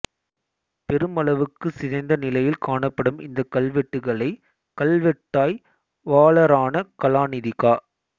பெருமளவுக்குச் சிதைந்த நிலையில் காணப்படும் இந்தக் கல்வெட்டுக்களை கல்வெட்டாய்வாளரான கலாநிதி கா